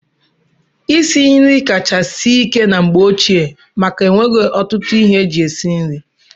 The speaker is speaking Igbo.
Isi nri kacha sie ike na mgbe ochie maka enweghị ọtụtụ ihe eji esi nri.